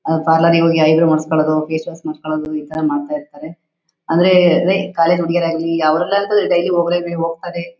ಅವ್ರ ಪಾರ್ಲರಿಗ್ ಹೋಗಿ ಐ ಬ್ರೋ ಮಾಡ್ಸಕೊಳ್ಳೋದು ಫೇಸ್ ವಾಶ್ ಮಾಡ್ಸಕೊಳ್ಳೋದು ಇ ತರ ಮಾಡ್ತಾ ಇರ್ತಾರೆ. ಅಂದ್ರೆ ಅದೇ ಕಾಲೇಜ್ ಹುಡ್ಗಿಯರಾಗ್ಲಿ